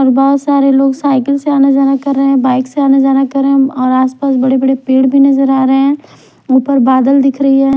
और बहुत सारे लोग साइकिल से आना-जाना कर रहे हैं बाइक से आने जाना करें और आसपास बड़े-बड़े पेड़ भी नजर आ रहे हैं ऊपर बादल दिख रही है।